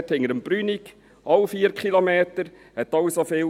Hinter dem Brünig –, ebenfalls 4 Kilometer, kostete auch so viel.